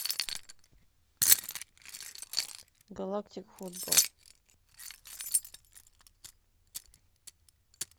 галактик футбол